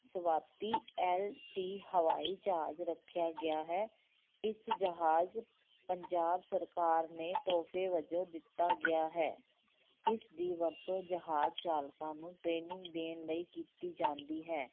ਸਵਾਤੀ LT ਹਵਾਈ ਜਹਾਜ ਰੱਖਿਆ ਗਿਆ ਹੈ, ਇਸ ਜਹਾਜ ਪੰਜਾਬ ਸਰਕਾਰ ਨੇ ਤੋਹਫੇ ਵਜੋਂ ਦਿੱਤਾ ਗਿਆ ਹੈ, ਇਸ ਦੀ ਵਰਤੋਂ ਜਹਾਜ ਚਾਲਕਾਂ ਨੂੰ training ਦੇਣ ਲਈ ਕੀਤੀ ਜਾਂਦੀ ਹੈ।